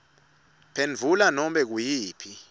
phendvula nobe nguyiphi